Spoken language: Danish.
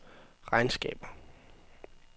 regnskaber